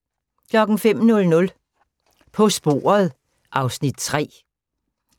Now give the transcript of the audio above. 05:00: På sporet (Afs. 3)